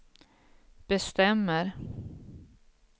bestämmer